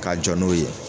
Ka jɔ n'o ye